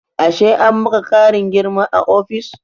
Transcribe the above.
Ashe an maka ƙarin girma a ofis?